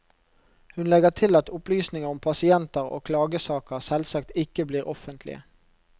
Hun legger til at opplysninger om pasienter og klagesaker selvsagt ikke blir offentlige.